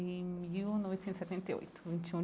Em mil novecentos e setenta e oito vinte e